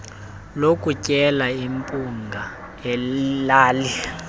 lokutyela iphunga elali